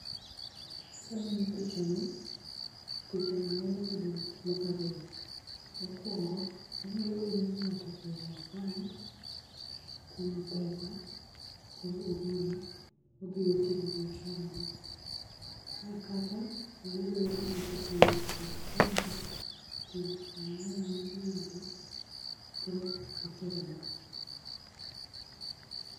Kang'iyo picha ni, picha ni nyalo bedo gik moko ariyo. Mokuongo, onyalo bedo ni ng'ato ose aa e bank, kuno pesa, koro ogolo, odhi go timo biashara ne. Kata, nyalo bedo ni ng'ato owuok e biashara, oting'o pesa mang'eng' moseyudo, koro otero e bank.